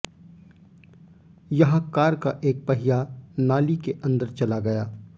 यहां कार का एक पहिया नाली के अंदर चला गया